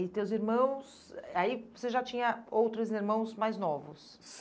E teus irmãos, eh aí você já tinha outros irmãos mais novos?